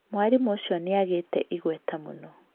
Mwarimũ ũcio nĩ agĩĩte igweta mũno.